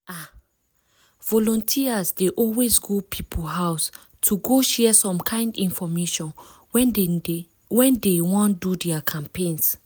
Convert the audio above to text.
ah! volunteers dey always go people house to go share some kind infomation when dey when dey wan do their campaigns.